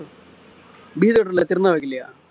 திருமா வைக்கலையா